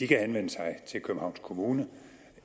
kan henvende sig til københavns kommune